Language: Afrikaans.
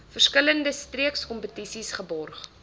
verskillende streekskompetisies geborg